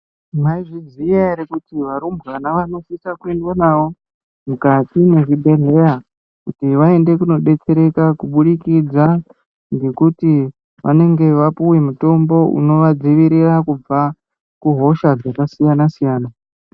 Maizviziya ere kuti varumbwana vanosisa kuendwa navo mukati mwezvibhedhleya. Kuti vaende kunodetsereka, kubudikidza ngekuti vanenge vapuwa mitombo, unovadzivirira kubva kuhosha dzakasiyana-siyana.